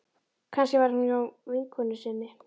Kannski var hún hjá vinkonu sinni.